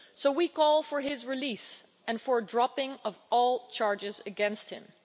We call for his release and for the dropping of all charges against him.